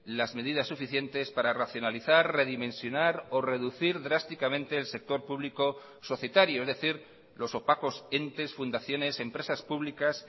las medidas suficientes para racionalizar redimensionar o reducir drásticamente el sector público societario es decir los opacos entes fundaciones empresas públicas